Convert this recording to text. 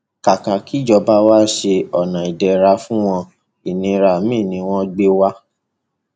kàkà kí ìjọba wa ṣe ọnà ìdẹra fún wọn ìnira miín ni wọn gbé wa